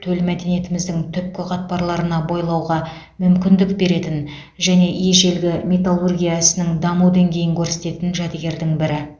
төл мәдениетіміздің түпкі қатпарларына бойлауға мүмкіндік беретін және ежелгі металлургия ісінің даму деңгейін көрсететін жәдігердің бірі